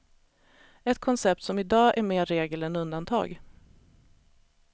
Ett koncept som i dag är mer regel än undantag.